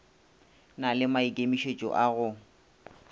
na le maikemišetšo a go